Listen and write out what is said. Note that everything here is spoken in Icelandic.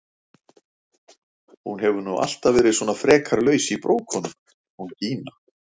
Hún hefur nú alltaf verið svona frekar laus í brókunum hún Gína!